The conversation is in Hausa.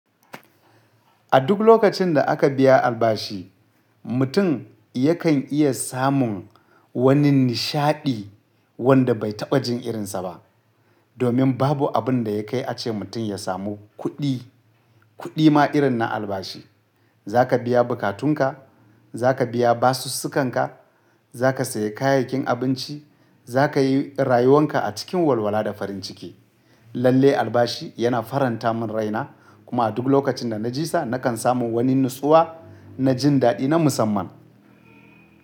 A duk lokacin da aka biya albashi, mutum yakan iya samun wani nishaɗi wanda bai taɓa jin irinsa ba. Domin babu abin da ya kai ace mutum ya samu kuɗi, kuɗi ma irin na albashi. Za ka biya bukatunka, za ka biya basussukanka, za ka sayi kayayyakin abinci, za ka yi rayuwan ka a cikin walwala da farin ciki. Lalle albashi yana faranta min raina kuma a duk lokacin da na ji sa, nakan samu wani natsuwa na jin daɗi na musamman.